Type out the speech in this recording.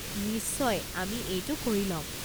নিশ্চয়, আমি এইটো কৰি ল'ম।